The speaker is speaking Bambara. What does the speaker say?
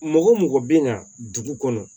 Mɔgɔ o mɔgɔ bɛ na dugu kɔnɔ